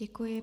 Děkuji.